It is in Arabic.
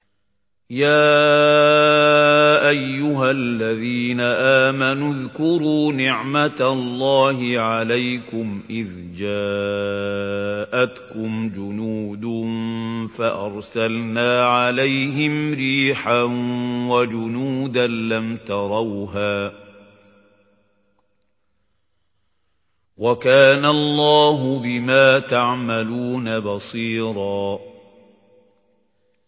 يَا أَيُّهَا الَّذِينَ آمَنُوا اذْكُرُوا نِعْمَةَ اللَّهِ عَلَيْكُمْ إِذْ جَاءَتْكُمْ جُنُودٌ فَأَرْسَلْنَا عَلَيْهِمْ رِيحًا وَجُنُودًا لَّمْ تَرَوْهَا ۚ وَكَانَ اللَّهُ بِمَا تَعْمَلُونَ بَصِيرًا